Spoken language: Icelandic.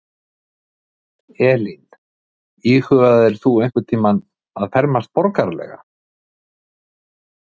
Elín: Íhugaðir þú einhvern tímann að fermast borgaralega?